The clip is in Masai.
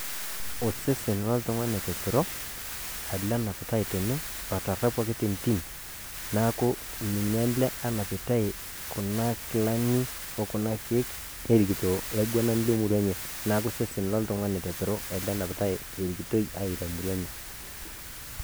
Osesen oltung'ani oteperoo aleng enaapitai tenee otaraapuaki te ntiim . Naaku ninye elee enapitai kuna nkilaani o kuna nkiek orikitoo laing'unani le murrua enye . Naa ku osesen ale enapitai erikitoi etaa murrua enye.